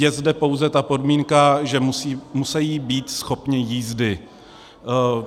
Je zde pouze ta podmínka, že musí být schopni jízdy.